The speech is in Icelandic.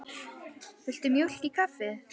Viltu mjólk í kaffið?